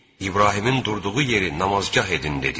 İbrahimin durduğu yeri namazgah edin dedik.